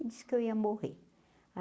E disse que eu ia morrer.